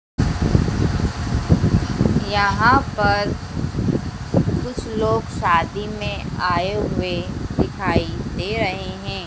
यहां पर कुछ लोग शादी में आए हुए दिखाई दे रहें हैं।